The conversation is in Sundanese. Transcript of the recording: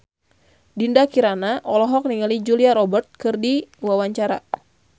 Dinda Kirana olohok ningali Julia Robert keur diwawancara